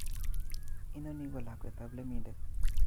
Inoni ko lakwetap lemindet